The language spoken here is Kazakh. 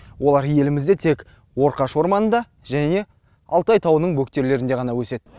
олар елімізде тек орқаш орманында және алтай тауының бөктерлерінде ғана өседі